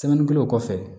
o kɔfɛ